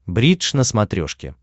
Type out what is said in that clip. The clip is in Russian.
бридж на смотрешке